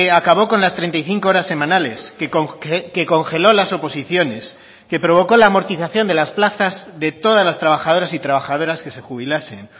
acabó con las treinta y cinco horas semanales que congeló las oposiciones que provocó la amortización de las plazas de todas las trabajadoras y trabajadoras que se jubilasen